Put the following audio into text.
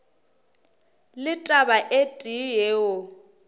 le taba e tee yeo